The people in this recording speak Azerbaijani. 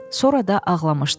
Sonra da ağlamışdı.